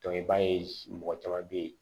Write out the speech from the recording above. i b'a ye mɔgɔ caman bɛ yen